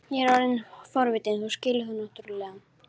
Ég er orðinn forvitinn, þú skilur það náttúrlega.